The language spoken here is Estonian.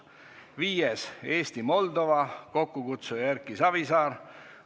Viiendaks, Eesti-Moldova, kokkukutsuja on Erki Savisaar.